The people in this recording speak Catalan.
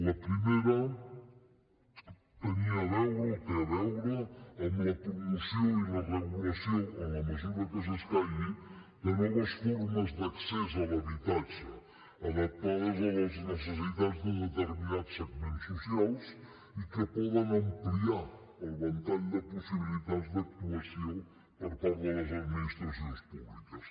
la primera tenia a veure o té a veure amb la promoció i la regulació en la mesura que s’escaigui de noves formes d’accés a l’habitatge adaptades a les necessitats de determinats segments socials i que poden ampliar el ventall de possibilitats d’actuació per part de les administracions públiques